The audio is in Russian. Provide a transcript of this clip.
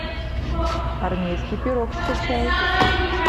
армейский пирог скачай